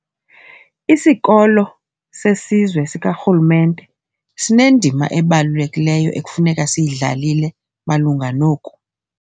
Isikolo seSizwe sikaRhulumente sinendima ebalulekileyo ekufuneka siyidlalile malunga noku.